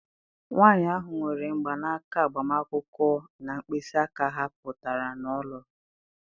Nwanyị ahụ nwere mgbanaka agbamakwụkwọ na mkpịsị aka ha pụtara na ọ lụrụ.